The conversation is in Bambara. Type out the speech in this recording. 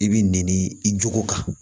I b'i nɛni i jog'o kan